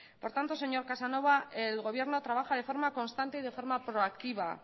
por tanto señor casanova el gobierno trabaja de forma constante y de forma proactiva